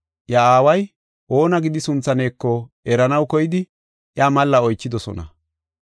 Iya aaway oona gidi sunthaneko eranaw koyidi iya malla oychidosona.